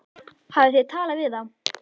Hafið þið talað við þá?